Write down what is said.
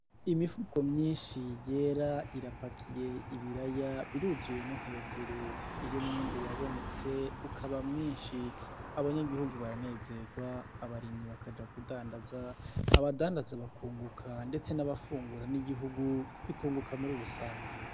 Imifuko myinshi yera irapakiye ibiraya, biruzuye no hejuru iyo umwimbu wabonetse ukaba mwinshi abanyagihugu baranezegwa abarimyi bakaja kudandaza, abadandaza bakunguka ndetse n'abafungura n'igihugu bikunguka muri rusangi.